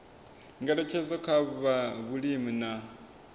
ngeletshedzo kha zwa vhulimi na